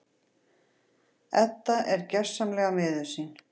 Edda er gersamlega miður sín.